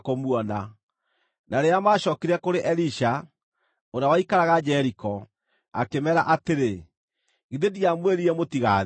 Na rĩrĩa maacookire kũrĩ Elisha, ũrĩa waikaraga Jeriko, akĩmeera atĩrĩ, “Githĩ ndiamwĩrire mũtigathiĩ?”